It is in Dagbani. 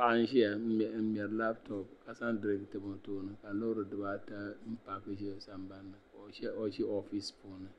Paɣa n ʒiya n ŋmɛri labtop ka zaŋ diriink tam o tooni ka loori dibaata paaki ʒɛ o sambanni ka o ʒi oofisi piuni